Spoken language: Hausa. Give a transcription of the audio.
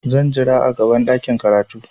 Zan jira a gaban ɗakin karatu.